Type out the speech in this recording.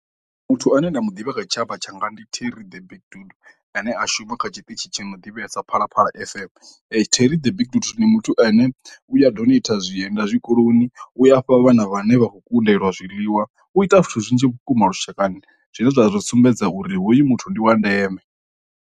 Muthu ane nda mu ḓivha kha tshitshavha tshanga ndi terry the big dude ane a shuma kha tshiṱitshi tsha na u ḓivhesa phalaphala F_M. Terry the big dude ndi muthu ane u ya ḓo ita zwienda zwikoloni u afha vhana vhane vha khou kundelwa zwiḽiwa u ita zwithu zwinzhi vhukuma lushakani zwine zwa ri sumbedza uri hoyu muthu ndi wa ndeme.